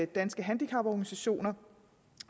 danske handicaporganisationer